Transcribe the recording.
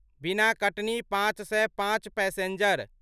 बिना कटनी पाँच सए पाँच पैसेञ्जर